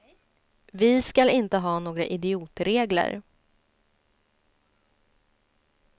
Vi skall inte ha några idiotregler.